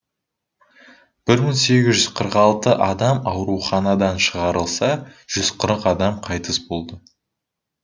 бір мың сегіз жүз қырық алты адам ауруханадан шығарылса жүз қырық адам қайтыс болды